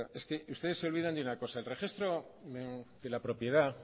es que ustedes se olvidan de una cosa el registro de la propiedad